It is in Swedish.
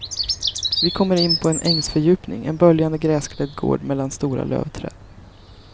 Vi kommer in på en ängsfördjupning, en böljande gräsklädd gård mellan stora lövträd.